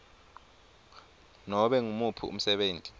nobe ngumuphi umsebenti